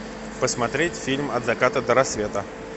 посмотреть фильм от заката до рассвета